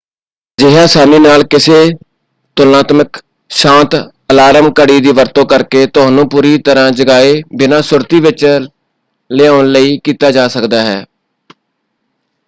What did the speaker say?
ਅਜਿਹਾ ਅਸਾਨੀ ਨਾਲ ਕਿਸੇ ਤੁਲਨਾਤਮਿਕ ਸ਼ਾਂਤ ਅਲਾਰਮ ਘੜੀ ਦੀ ਵਰਤੋਂ ਕਰਕੇ ਤੁਹਾਨੂੰ ਪੂਰੀ ਤਰ੍ਹਾਂ ਜਗਾਏ ਬਿਨਾਂ ਸੁਰਤੀ ਵਿੱਚ ਲਿਆਉਣ ਲਈ ਕੀਤਾ ਜਾ ਸਕਦਾ ਹੈ।